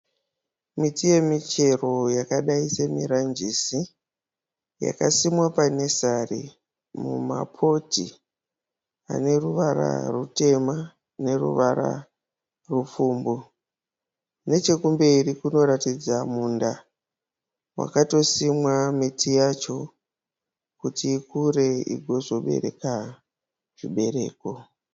Miti yemuchero yakadai semiranjisi yakasimwa panesari mumapoti ane ruvara rutema neruvara rupfumbu. Nechekumberi kunoratidza munda wakatosimwa miti yacho kuti ikure igozobereka zvibereko.